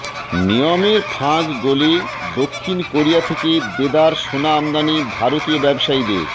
নিয়মের ফাঁক গলে দক্ষিণ কোরিয়া থেকে দেদার সোনা আমদানি ভারতীয় ব্যবসায়ীদের